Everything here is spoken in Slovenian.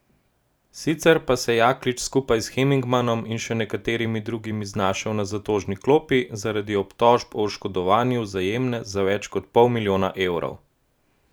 Sicer pa se je Jaklič skupaj s Henigmanom in še nekaterimi drugimi znašel na zatožni klopi zaradi obtožb o oškodovanju Vzajemne za več kot pol milijona evrov.